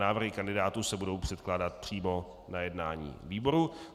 Návrhy kandidátů se budou předkládat přímo na jednání výboru.